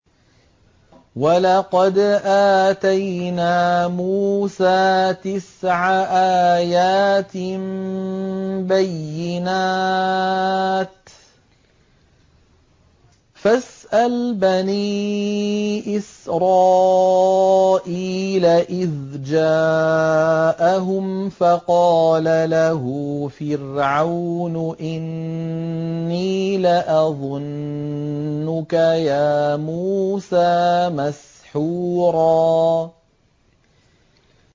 وَلَقَدْ آتَيْنَا مُوسَىٰ تِسْعَ آيَاتٍ بَيِّنَاتٍ ۖ فَاسْأَلْ بَنِي إِسْرَائِيلَ إِذْ جَاءَهُمْ فَقَالَ لَهُ فِرْعَوْنُ إِنِّي لَأَظُنُّكَ يَا مُوسَىٰ مَسْحُورًا